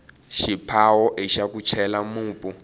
xiphawo ixa ku chela mupu